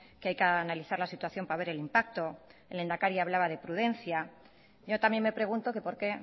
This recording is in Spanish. que hay que analizar la situación para ver el impacto el lehendakari hablaba de prudencia yo también me pregunto que por qué